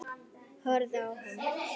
Horfið á hann.